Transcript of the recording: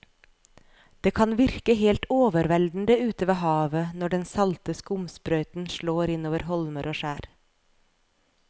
Det kan virke helt overveldende ute ved havet når den salte skumsprøyten slår innover holmer og skjær.